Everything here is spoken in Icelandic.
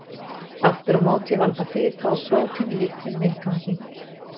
Aftur á móti valda fita og prótín litlum vindgangi.